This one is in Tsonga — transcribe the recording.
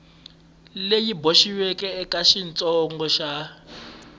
leyi boxiweke eka xiyengentsongo xa